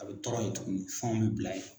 A bɛ tɔrɔ yen tuguni fan bɛ bila ye.